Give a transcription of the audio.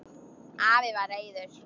Afi var reiður.